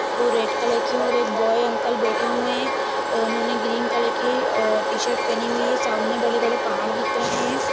वो red colour की और वो एक बोई अंकल बैठे हुए है उन्होंने ग्रीन कलर की अ टीशर्ट पेहनी हुई है सामने बड़े-बड़े पहाड़ दिख रहे है ।